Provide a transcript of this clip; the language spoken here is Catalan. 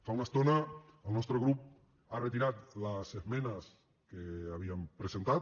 fa una estona el nostre grup ha retirat les esmenes que havíem presentat